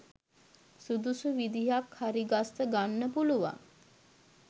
සුදුසු විදිහක් හරිගස්ස ගන්න පුළුවන්.